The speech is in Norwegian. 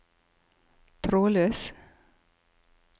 trådløs